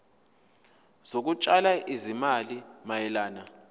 zokutshala izimali mayelana